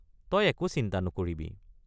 তই একো চিন্তা নকৰিবি।